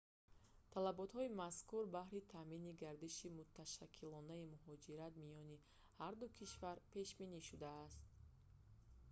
талаботҳои мазкур баҳри таъмини гардиши муташаккилонаи муҳоҷират миёни ҳарду кишвар пешбинӣ шудааст